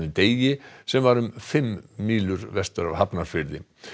Degi sem var um fimm mílur vestur af Hafnarfirði